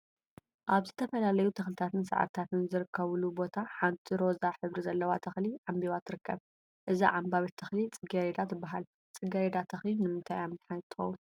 አብ ዝተፈላለዩ ተክሊታትን ሳዕሪታትን ዝርከቡሉ ቦታ ሓንቲ ሮዛ ሕብሪ ዘለዋ ተክሊ ዓምቢባ ትርከብ፡፡ እዛ ዓምባቢት ተክሊ ፅጌ ረዳ ትበሃል፡፡ ፅጌረዳ ተክሊ ንምንታይ እያ መድሓኒት ትኸውን?